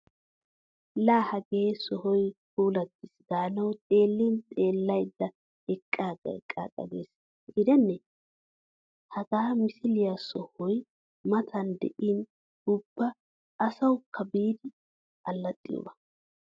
Laa hagee sohoy puulattiis gaanawu xeellin xeellaydda eqqaaga eqqaage gees gidenne! Hagaa msla sohoy matan de'in ubba asawukka biidi allaxxiyoba!